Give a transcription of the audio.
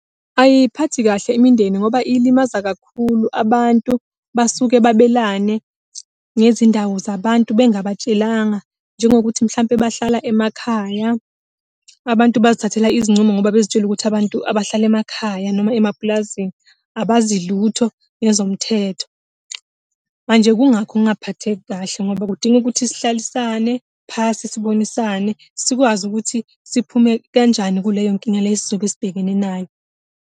Ayiyiphathi kahle imindeni ngoba ilimaza kakhulu abantu, basuke babelane ngezindawo zabantu bengabatshelanga, njengokuthi mhlampe bahlala emakhaya. Abantu bazithathela izincumo ngoba bezitshela ukuthi abantu abahlala emakhaya noma emapulazini abazi lutho ngezomthetho. Manje kungakho ngingaphatheki kahle, ngoba kudinga ukuthi sihlalesane, phasi, sibonisane sikwazi ukuthi siphume kanjani kuleyo nkinga le esizobe sibhekene nayo.